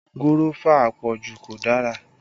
Gúrọ́fà àpọ̀jù kò dára